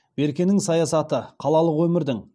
беркенің саясаты қалалық өмірдің